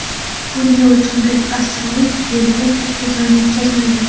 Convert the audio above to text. bunday o‘lchamdagi asteroid Yerga katta ziyon yetkazmaydi.